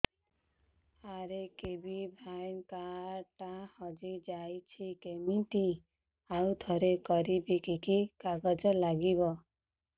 RKBY card ଟା ହଜିଯାଇଛି କିମିତି ଆଉଥରେ କରିବି କି କି କାଗଜ ଲାଗିବ